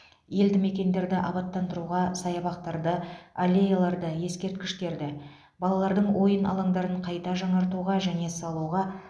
елді мекендерді абаттандыруға саябақтарды аллеяларды ескерткіштерді балалардың ойын алаңдарын қайта жаңартуға және салуға